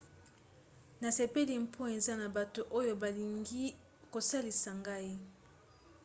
nasepeli mpo eza na bato oyo balingi kosalisa ngai